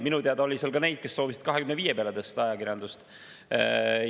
Minu teada oli seal ka neid, kes soovisid 25% peale tõsta ajakirjanduse.